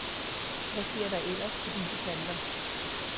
Hvad sker der ellers på disse kanter?